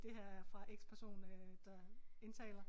Det her er fra X person øh der indtaler